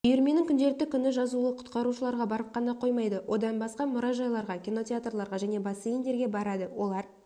үйірменің күнделікті күні жазулы құтқарушыларға барып қана қоймайды одан басқа мұражайларға кинотеатрларға және бассейндерге барады олар